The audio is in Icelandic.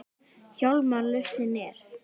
Hjálmar lausnin er.